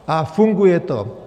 A funguje to.